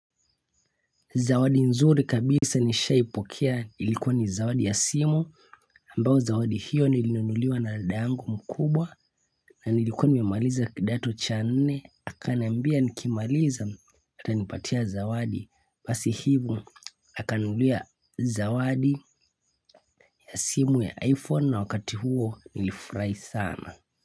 Zawadi nzuri kabisa nishaipokea ilikuwa ni zawadi ya simu ambayo zawadi hiyo nilinunuliwa na dadangu mkubwa na nilikuwa nimemaliza kidato cha nne akaniambia nikimaliza atanipatia zawadi basi hivo akaninunulia zawadi ya simu ya iPhone na wakati huo nilifurahi sana.